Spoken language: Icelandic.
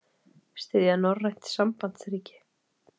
Styðja norrænt sambandsríki